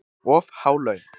Of há laun